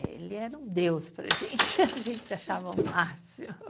Ele era um deus para a gente, a gente achava um máximo.